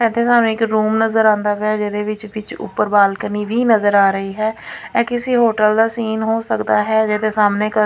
ਇੱਥੇ ਸਾਨੂੰ ਇੱਕ ਰੂਮ ਨਜ਼ਰ ਆਉਂਦਾ ਪਿਆ ਜਿਹਦੇ ਵਿੱਚ ਵਿਚ ਉਪਰ ਬਾਲਕਨੀ ਵੀ ਨਜ਼ਰ ਆ ਰਹੀ ਹੈ ਕਿਸੇ ਹੋਟਲ ਦਾ ਸੀਨ ਹੋ ਸਕਦਾ ਹੈ ਜਿਹਦੇ ਸਾਹਮਣੇ --